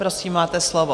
Prosím, máte slovo.